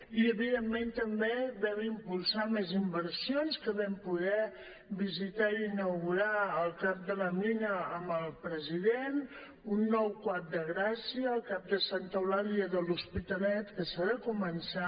i evidentment també vam impulsar més inversions que vam poder visitar i inaugurar el cap de la mina amb el president un nou cuap de gràcia el cap de santa eulàlia de l’hospitalet que s’ha de començar